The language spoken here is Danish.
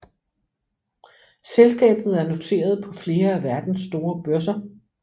Selskabet er noteret på flere af verdens store børser